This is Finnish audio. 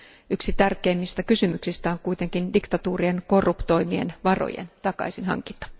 Yksi tärkeimmistä kysymyksistä on kuitenkin diktatuurien korruptoimien varojen takaisinhankinta.